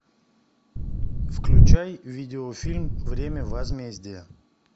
включай видеофильм время возмездия